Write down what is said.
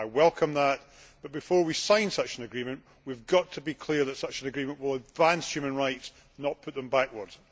I welcome that but, before we sign such an agreement, we have to be clear that such an agreement will advance human rights and not move them backwards.